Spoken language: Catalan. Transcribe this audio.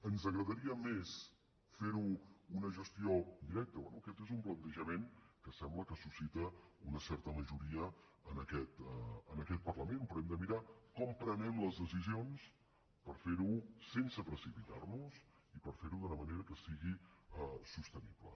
ens agradaria més fer ne una gestió directa bé aquest és un plantejament que sembla que suscita una certa majoria en aquest parlament però hem de mirar com prenem les decisions per fer ho sense precipitar nos i per fer ho d’una manera que sigui sostenible